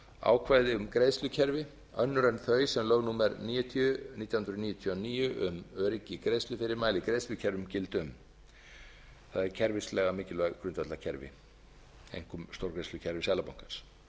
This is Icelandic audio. ákvæði um greiðslukerfi önnur en þau sem lög númer níutíu nítján hundruð níutíu og níu um öryggi í greiðslufyrirmæli í greiðslukerfum gilda um það eru kerfislega mikilvæg grundvallarkerfi einkum stórgreiðslukerfi seðlabankans